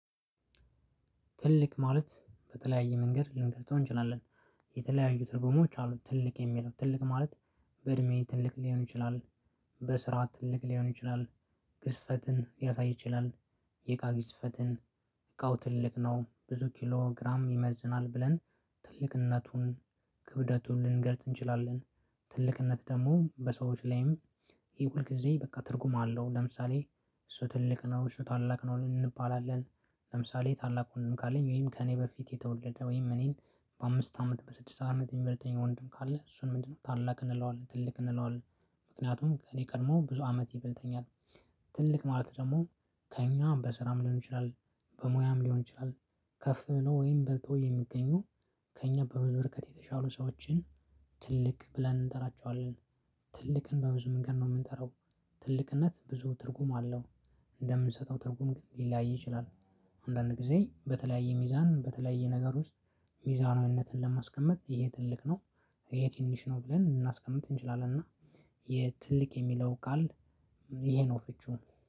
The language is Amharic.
ትልቅ ማለት በተለያየ መንገድ ልንገጸው እንችላለን የተለያዩ ትርጉሞች አሉት። ትልቅ የሚለው ትልቅ ማለት በእድሜዬ ትልቅ ሊሆን ይችላል። በስራ ትልቅ ሊሆን ይችላል። ግዝፈትን ሊያሳይ ይችላል። የእቃ ግዝፈትን እቃው ትልቅ ነው ብዙ ኪሎ ግራም ይመዝናል ብለን እነቱን ክብደቱን ልንገልጽ እንችላለን። ትልቅነት ደግሞ በሰዎች ላይም ይሄ ሁልጊዜ በቃ ትርጉም አለው። ለምሳሌ እሱ ትልቅ ነው እሱ ታላቅ ነው። እንባላለን ለምሳሌ ታላቅ ወንድም ካለኝ ወይም ከእኔ በፊት የተወለደ ወይም እኔን በአምስት አመት በስድስት አመት የሚበልጠኝ ወንድም ካለ እሱን ምንድነው ታላቅ እንለዋለን። ትልቅ እንለዋለን ምክንያቱም እኔ ቀድሞ ብዙ አመት ይበልጠኛል። ትልቅ ማለት ደግሞ ከእኛ በስራም ሊሆን ይችላል። በሙያም ሊሆን ይችላል። ከፍ ብሎ ወይም በልጦ የሚገኙ ከእኛ በብዙ ወርከት የተሻሉ ሰዎችን ትልቅ ብለን እንጠራቸዋለን። ትልቅን በብዙ መንገድ ነው የምንጠራው። ትልቅነት ብዙ ትርጉም አለው። እንደምንሰጠው ትርጉም ሊለያይ ይችላል። አንዳንድ ጊዜ በተለያየ ሚዛን በተለያየ ነገር ውስጥ ሚዛናዊነትን ለማስቀመጥ ይሄ ትልቅ ነው። ይሄ ትንሽ ነው ብለን ልናስቀምጥ እንችላለን። እና የትልቅ የሚለው ቃል ይሄ ነው ፍቺው።